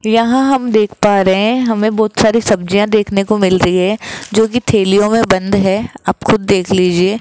यहां हम देख पा रहे हैं हमें बहुत सारी सब्जियां देखने को मिल रही है जो कि थैलियों में बंद है आप खुद देख लीजिए।